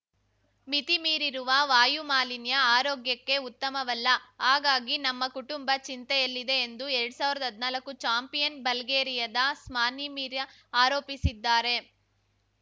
ಮಿತಿಮೀರಿರುವ ವಾಯು ಮಾಲಿನ್ಯ ಆರೋಗ್ಯಕ್ಕೆ ಉತ್ತಮವಲ್ಲ ಹಾಗಾಗಿ ನಮ್ಮ ಕುಟುಂಬ ಚಿಂತೆಯಲ್ಲಿದೆ ಎಂದು ಎರಡ್ ಸಾವಿರ್ದಾ ಹದ್ನಾಲ್ಕು ಚಾಂಪಿಯನ್‌ ಬಲ್ಗೇರಿಯಾದ ಸ್ಮಾನಿಮಿರ್ಯಾ ಆರೋಪಿಸಿದ್ದಾರೆ